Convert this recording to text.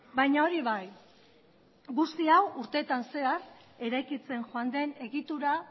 baina hori bai guzti hau urtetan zehar eraikitzen joan den egitura